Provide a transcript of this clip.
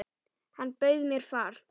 Hann bauð mér far.